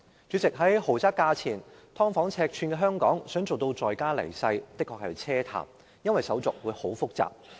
主席，在房屋為豪宅價錢、"劏房"尺寸的香港，想做到在家離世，的確是奢談，因為手續相當複雜。